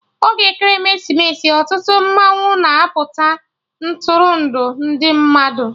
Oge Ekeresimesi, ọtụtụ mmanwụ na-apụta Ntụrụndụ ndị mmadụ